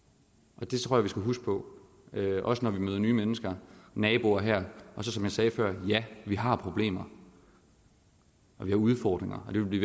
det tror jeg vi skal huske på også når vi møder nye mennesker naboer her som jeg sagde før ja vi har problemer og vi har udfordringer og det vil vi